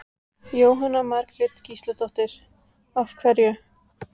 Jóhanna Margrét Gísladóttir: Af hverju?